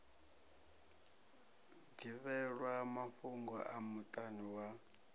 ḓivhelwa mafhugo a muṱani wa